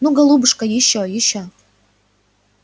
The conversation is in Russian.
ну голубушка ещё ещё